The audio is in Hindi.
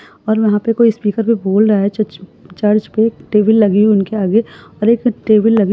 और वहां पर स्पीकर पर कोई बोल रहा है जो चर्च पर टेबल लगी हुयी है उनके आगे और एक टेबल लगी हुयी --